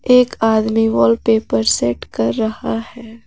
एक आदमी wallpaper set कर रहा है।